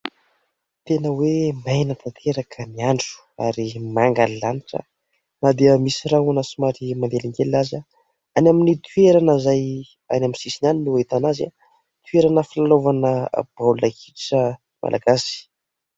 Tena hoe maina tanteraka ny andro ary manga ny lanitra na dia misy rahona somary manelingelina aza any amin'ny toerana izay any amin'ny sisina any ny hahitana azy toerana filalaovana baolina kitra malagasy.